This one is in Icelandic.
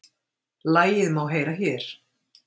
Lagið má heyra hér